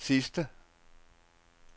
sidste